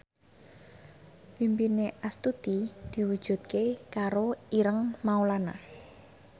impine Astuti diwujudke karo Ireng Maulana